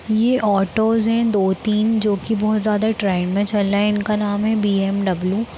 ये ऑटोस हैं दो तीन जो की बहुत ज्यादा ट्रेंड में चल रहे हैं। इनका नाम है बीऍमडब्लू ।